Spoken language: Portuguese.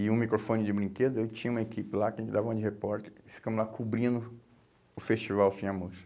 e um microfone de brinquedo, eu tinha uma equipe lá que a gente dava uma de repórter e ficamos lá cobrindo o festival Fim à Moça.